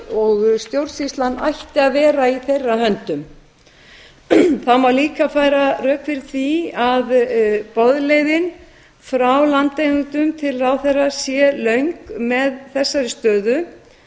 og stjórnsýslan ætti að vera í þeirra höndum það má líka færa rök fyrir því að boðleiðin frá landeigendum til ráðherra sé löng með þessari stöðu